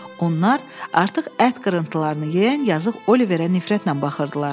Onlar artıq ət qırıntılarını yeyən yazıq Oliverə nifrətlə baxırdılar.